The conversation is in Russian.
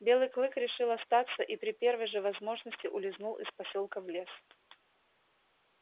белый клык решил остаться и при первой же возможности улизнул из посёлка в лес